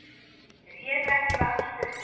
Réðu ekki við aksturinn